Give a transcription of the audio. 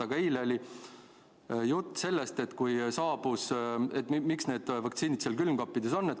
Aga eile oli juttu sellest, miks need vaktsiinid neis külmkappides on.